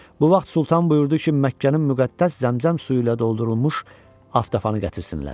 Bu vaxt Sultan buyurdu ki, Məkkənin müqəddəs Zəmzəm suyuyla doldurulmuş aftafanı gətirsinlər.